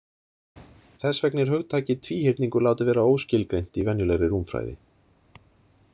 Þess vegna er hugtakið tvíhyrningur látið vera óskilgreint í venjulegri rúmfræði.